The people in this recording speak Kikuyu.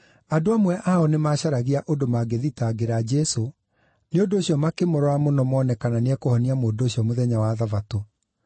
Andũ amwe ao nĩmacaragia ũndũ mangĩthitangĩra Jesũ, nĩ ũndũ ũcio makĩmũrora mũno mone kana nĩekũhonia mũndũ ũcio mũthenya wa Thabatũ.